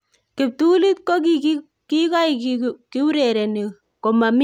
kiptulit kokikoik kiurereni komomi mashabik kong'eten koik ne machamndaat